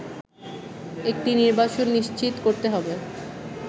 একটি নির্বাচন নিশ্চিত করতে হবে